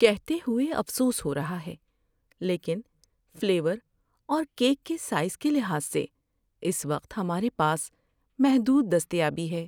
کہتے ہوئے افسوس ہو رہا ہے، لیکن فلیور اور کیک کے سائز کے لحاظ سے اس وقت ہمارے پاس محدود دستیابی ہے۔